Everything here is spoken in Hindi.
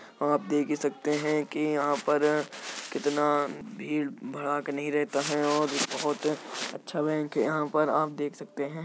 आप देख ही सकते हैं कि यहां पर कितना भीड़ भड़ाक नहीं रहता है और बोहोत अच्छा बैंक है। यहां पर आप देख सकते हैं।